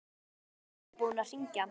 Ég hélt að þú værir búinn að hringja.